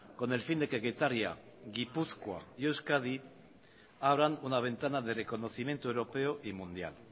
con el fin de que getaria gipuzkoa y euskadi habrán una ventana de reconocimiento europeo y mundial